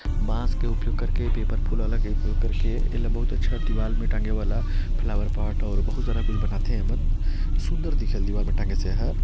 बांस के उपयोग करके पेपर फूल ल लगई पेपर के एला बहुत अच्छा दिवार म टाँगे वाला फ्लाउअर पार्ट बहुत सारा फूल बना थे एमन सुंदर दिखेल ब दिवार म टाँगे से एहर--